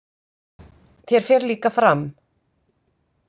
Þér fer líka fram.